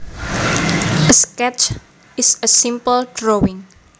A sketch is a simple drawing